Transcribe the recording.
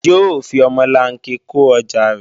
Yóò fi omolanke kó ọjà rẹ̀